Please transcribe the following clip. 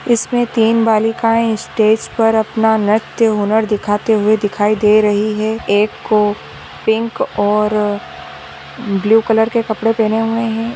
इसमें तीन बालिकांए स्टेज पर अपना नृत्य हुनर दिखते हुए दिखाई दे रही है एक को पिंक और ब्लू कलर के कपड़े पहने हुए है।